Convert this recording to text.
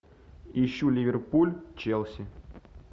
ищу ливерпуль челси